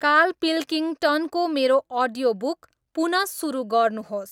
Karl पिल्किङटनको मेरो audio book पुन सुरु गर्नुहोस्।